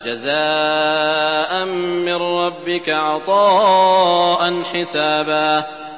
جَزَاءً مِّن رَّبِّكَ عَطَاءً حِسَابًا